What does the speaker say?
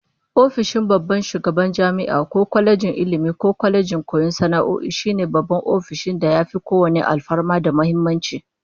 Ofishin babban shugaban jami'a ko kwalejin Ilmi ko kwalejin koyon sana'o'i, shine babban ofishin da yafi kowanne alfarma da muhimmanci